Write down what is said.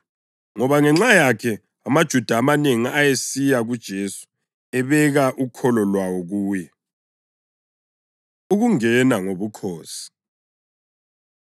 ngoba ngenxa yakhe amaJuda amanengi ayesiya kuJesu ebeka ukholo lwawo kuye. Ukungena Ngobukhosi